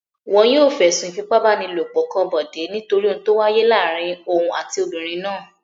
Wọn yóò fẹ̀sùn ìfipábánilòpọ̀ kan Bọ̀dé nítorí ohun tó wáyé láàárin òun àti obìnrin náà.